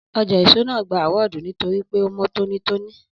Ọjà ẹ̀so naa awọ́dù nítorí pe mọ tónítóní